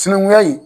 Sinankunya in